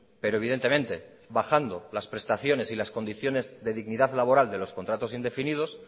pero evidentemente bajando las prestaciones y las condiciones de dignidad laboral de los contratos indefinidos